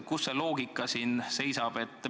Kus see loogika siin on?